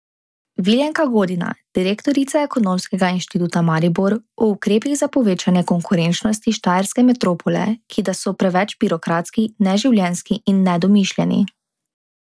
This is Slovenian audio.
Viljenka Godina, direktorica Ekonomskega inštituta Maribor, o ukrepih za povečanje konkurenčnosti štajerske metropole, ki da so preveč birokratski, neživljenjski in nedomišljeni.